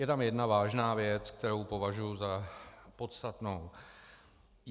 Je tam jedna vážná věc, kterou považuji za podstatnou.